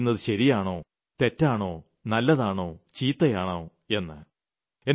സർക്കാർ ചെയ്യുന്നത് ശരിയാണോ തെറ്റാണോ നല്ലതാണോ ചീത്തയാണോ എന്ന്